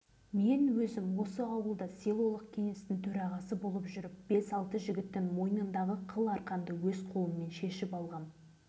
қазір бала-шағаларымыз да өзіміз де аурумыз қаншама жас қыршындар өздеріне қол жұмсап дүниеден қайтты